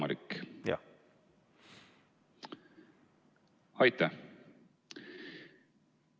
Aitäh!